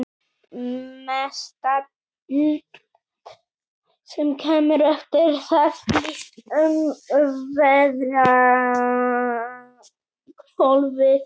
Mestallt sem kemur eftir það flyst um veðrahvolfið.